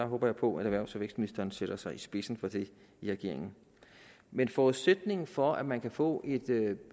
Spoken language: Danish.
håber på at erhvervs og vækstministeren sætter sig i spidsen for det i regeringen men forudsætningen for at man kan få